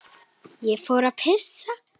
Ég fór að pissa.